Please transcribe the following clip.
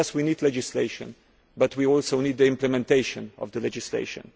Yes, we need legislation, but we also need implementation of the legislation.